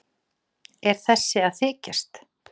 Er þessi að þykjast?